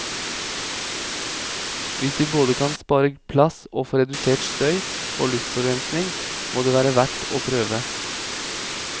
Hvis vi både kan spare plass og få redusert støy og luftforurensning, må det være verdt å prøve.